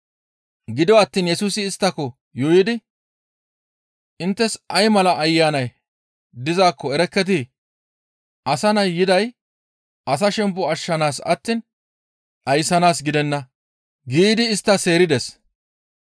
Gido attiin Yesusi isttako yuuyidi, «Inttes ay mala ayanay dizaakko erekketii? Asa Nay yiday asa shempo ashshanaas attiin dhayssanaas gidenna» giidi istta seerides.